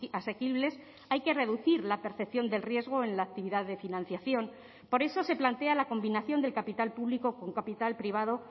asequibles hay que reducir la percepción del riesgo en la actividad de financiación por eso se plantea la combinación del capital público con capital privado